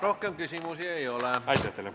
Rohkem küsimusi ei ole.